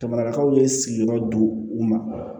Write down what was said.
Jamanakaw ye sigiyɔrɔ don u ma